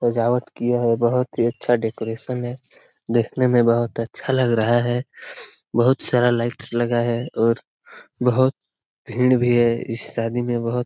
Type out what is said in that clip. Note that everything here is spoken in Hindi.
सजावट किया है बहोत ही अच्छा डेकोरेशन है देखने में बहोत अच्छा लग रहा है बहोत सारा लाइट्स लगा है और बहोत भीड़ भी है इस शादी में बहोत ।